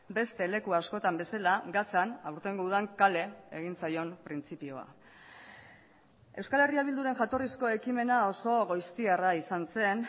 beste leku askotan bezala gazan aurtengo udan kale egin zaion printzipioa euskal herria bilduren jatorrizko ekimena oso goiztiarra izan zen